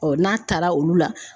n'a taara olu la